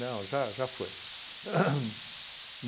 Não, já já foi. Ham.